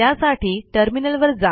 त्यासाठी टर्मिनलवर जा